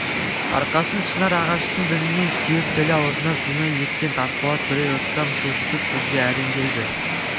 арқасын шынар ағаштың діңіне сүйеп тілі аузына симай кеткен тасболат бірер ұрттам су жұтып сөзге әрең келді